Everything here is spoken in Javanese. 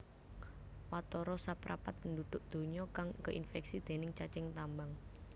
Watara saprapat penduduk donya kang keinfeksi déning cacing tambang